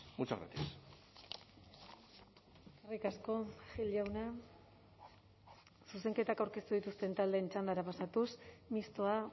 muchas gracias eskerrik asko gil jauna zuzenketak aurkeztu dituzten taldeen txandara pasatuz mistoa